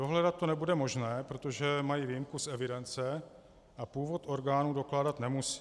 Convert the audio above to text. Dohledat to nebude možné, protože mají výjimku z evidence a původ orgánů dokládat nemusí.